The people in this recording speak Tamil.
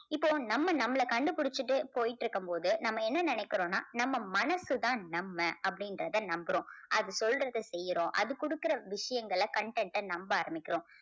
இப்போ நம்ம நம்மள கண்டுபிடிச்சுட்டு போயிட்டு இருக்கும்போது நம்ம என்ன நினைக்கிறோம்னா நம்ம மனசு தான் நம்ம அப்படின்றத நம்புறோம். அது சொல்றத செய்யறோம் அது கொடுக்கிற விஷயங்களை content அ நம்ப ஆரம்பிக்கிறோம்.